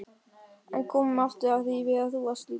En komum aftur að því þegar þú varst lítil stelpa.